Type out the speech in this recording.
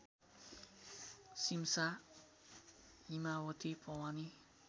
Simsa Himavati Bhawani